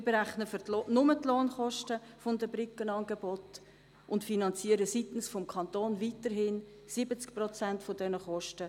Wir berechnen nur die Lohnkosten der Brückenangebote und finanzieren vonseiten des Kantons weiterhin 70 Prozent der Kosten.